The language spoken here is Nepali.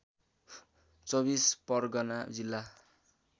२४ परगना जिल्ला